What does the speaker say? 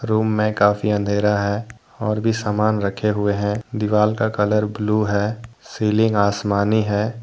Room में काफी अंधेरा है। और भी सामान रखे हुए हैं। दीवाल का कलर ब्लू है। सीलिंग आसमानी है।